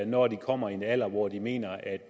når de kommer i en alder hvor de mener at